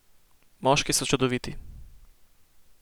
Moški so čudoviti.